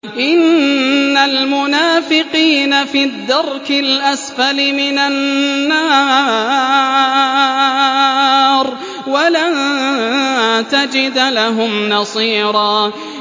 إِنَّ الْمُنَافِقِينَ فِي الدَّرْكِ الْأَسْفَلِ مِنَ النَّارِ وَلَن تَجِدَ لَهُمْ نَصِيرًا